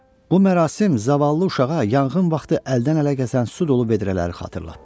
Bu mərasim zavallı uşağa yanğın vaxtı əldən-ələ keçən su dolu vedrələri xatırlatdı.